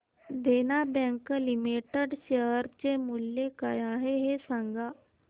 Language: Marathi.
देना बँक लिमिटेड शेअर चे मूल्य काय आहे हे सांगा